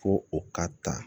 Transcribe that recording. Ko o ka ta